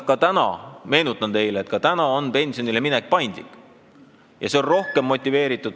Aga tänagi, meenutan teile, on pensionile minek paindlik ja inimesed on selles mõttes rohkem motiveeritud ...